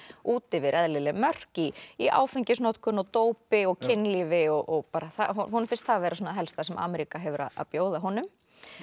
út yfir eðlileg mörk í í áfengisnotkun og dópi og kynlífi og bara honum finnst það vera það helsta sem Ameríka hefur að bjóða honum